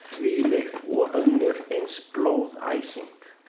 Þvílík og önnur eins blóðæsing.